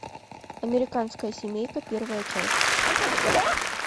американская семейка первая часть